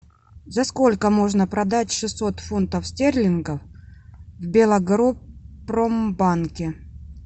за сколько можно продать шестьсот фунтов стерлингов в белагропромбанке